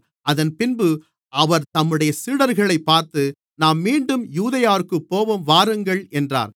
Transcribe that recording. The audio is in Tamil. அதன்பின்பு அவர் தம்முடைய சீடர்களைப் பார்த்து நாம் மீண்டும் யூதேயாவிற்குப் போவோம் வாருங்கள் என்றார்